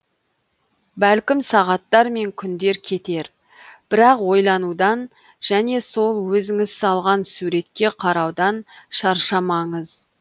бәлкім сағаттар мен күндер кетер бірақ ойланудан және сол өзіңіз салған суретке қараудан шаршамаңыз